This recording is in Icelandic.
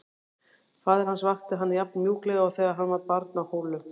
Faðir hans vakti hann jafn mjúklega og þegar hann var barn á Hólum.